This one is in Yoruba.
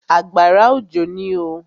Àgbàrá òjò ní oo.